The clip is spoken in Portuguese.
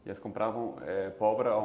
E elas compravam pólvora a